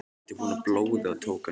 Ég átti von á blóði og tók hann með.